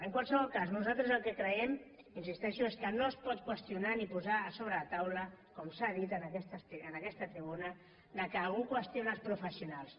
en qualsevol cas nosaltres el que creiem hi insisteixo és que no es pot qüestionar ni posar sobre la taula com s’ha dit en aquesta tribuna que algú qüestiona els professionals